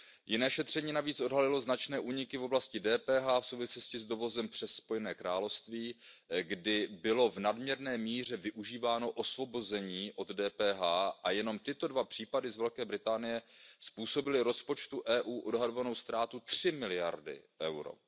Jiné šetření navíc odhalilo značné úniky v oblasti DPH v souvislosti s dovozem přes Spojené království, kdy bylo v nadměrné míře využíváno osvobození od DPH, a jenom tyto dva případy z Velké Británie způsobily rozpočtu EU odhadovanou ztrátu 3 miliardy EUR.